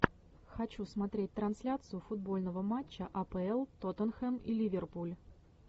хочу смотреть трансляцию футбольного матча апл тоттенхэм и ливерпуль